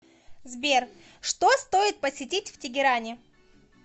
сбер что стоит посетить в тегеране